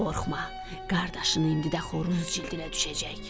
Qorxma, qardaşın indi də xoruz cildinə düşəcək."